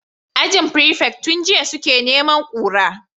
Ajin prefect tun jiya suke neman kura